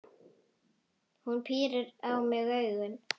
Hún pírir á mig augun.